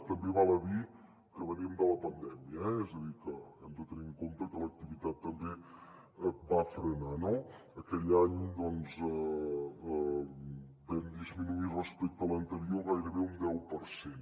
també val a dir que venim de la pandèmia eh és a dir que hem de tenir en compte que l’activitat també va frenar no aquell any doncs vam disminuir respecte a l’anterior gairebé un deu per cent